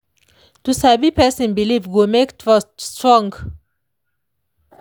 to sabi person belief go make trust strong.